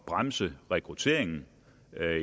bremse rekrutteringen